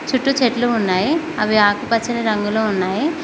చుట్టూ చెట్లు ఉన్నాయి అవి ఆకుపచ్చని రంగులో ఉన్నాయి.